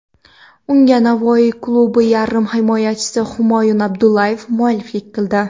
Unga Navoiy klubi yarim himoyachisi Humoyun Abdualiyev mualliflik qildi.